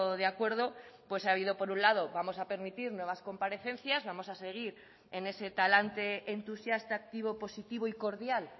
de acuerdo pues ha habido por un lado vamos a permitir nuevas comparecencias vamos a seguir en ese talante entusiasta activo positivo y cordial